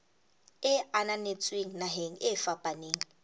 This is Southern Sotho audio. e ananetsweng naheng e fapaneng